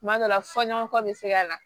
Tuma dɔ la fɔɲɔgɔnkɔ bɛ se ka na